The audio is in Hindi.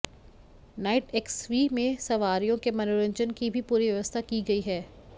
नाइट एक्सवी में सवारियों के मनोरंजन की भी पूरी व्यवस्था की गई है